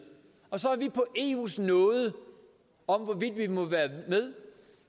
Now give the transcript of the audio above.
og så af eus nåde om vi må være med